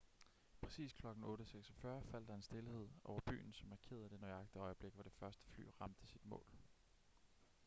præcis klokken 8:46 faldt der en stilhed over byen som markerede det nøjagtige øjeblik hvor det første fly ramte sit mål